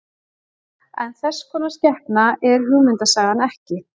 en þess konar skepna er hugmyndasagan ekki